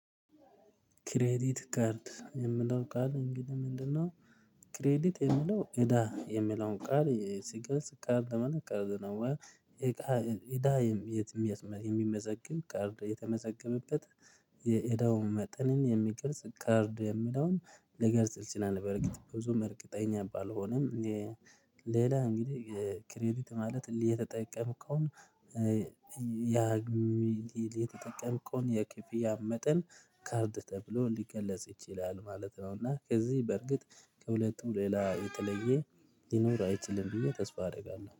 ክሬዲት ካርድ የምለው ቃል እንግዲህ ምንድነው? ክሬዲት የሚለው እዳ የሚለውን ቃል ሲገልጽ ቃርድ ደመና ቃርድ ነው። እቃ እዳ የትም የሚመዘግብ ቃርድ የተመዘገበበት። የእዳው መጠንን የሚገልጽ ካርድ የሚለውን ሊገልጽ ይችላል በርግጥ ብዙም እርግጠኛ ባልሆንም። ሌላ እንግዲህ ክሬዲት ማለት የተጠቀምከውን። የተጠቀምከውን የክፍያ መጠን ካርድ ተብሎ ሊገለጽ ይችላል ማለት ነው፤ እና ከዚህ በርግጥ ከሁለቱ ሌላ የተለየ ሊኖር አይችልም ብዬ ተስፋ አደርጋለሁ።